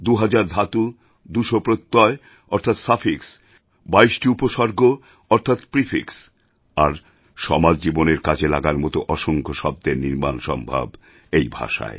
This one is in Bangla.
দুহাজার ধাতু ২০০ প্রত্যয় অর্থাৎ সাফিক্স ২২টি উপসর্গ অর্থাৎ প্রিফিক্স আর সমাজজীবনের কাজে লাগার মত অসংখ্য শব্দের নির্মাণ সম্ভব এই ভাষায়